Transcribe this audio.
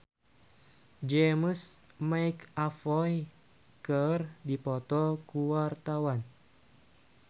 Vina Panduwinata jeung James McAvoy keur dipoto ku wartawan